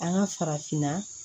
An ka farafinna